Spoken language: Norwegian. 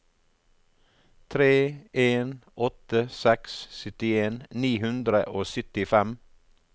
tre en åtte seks syttien ni hundre og syttifem